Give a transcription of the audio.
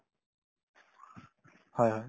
হয় হয়